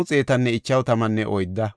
Bebaya yarati 628;